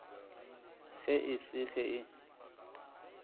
ge e se ge e